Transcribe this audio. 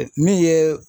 Min ye